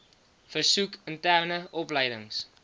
versoek interne opleidings